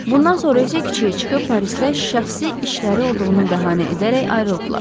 Bundan sonra isə kiçiyə çıxıb Parisdə şəxsi işləri olduğunu bəhanə edərək ayrıldılar.